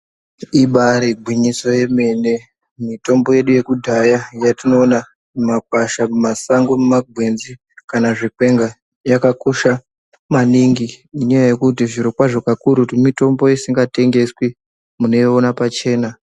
Ibairi ngwinyiso yemene mitombo yedu yekudhaya yatinoona muma kwasha muma sango mu makwenzi kana zvikwenga yaka kosha maningi ngenya yekuti zviro kwazvo kakurutu mutombo usinga tengeswi munoi ona pachena.